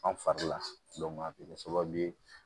An fari la a bɛ kɛ sababu ye